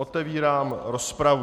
Otevírám rozpravu.